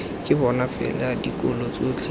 ke bona fela dikolo tsotlhe